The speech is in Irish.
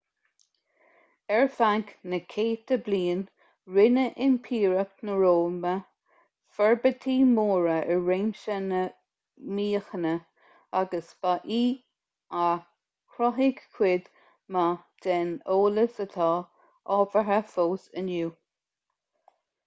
ar feadh na gcéadta bliain rinne impireacht na róimhe forbairtí móra i réimse na míochaine agus ba í a chruthaigh cuid mhaith den eolas atá ábhartha fós inniu